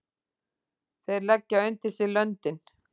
Þeir leggja undir sig löndin!